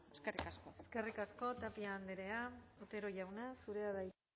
eskerrik asko eskerrik asko tapia andrea otero jauna zurea da hitza